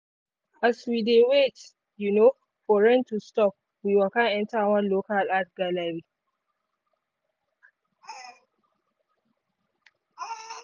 as we dey wait um for rain to stop we waka enter one local art gallery.